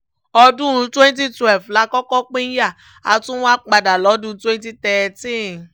ọdún twenty twelve la kọ́kọ́ pínyà a tún wáá padà lọ́dún twenty thirteen